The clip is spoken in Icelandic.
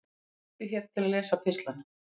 Smelltu hér til að lesa pistlana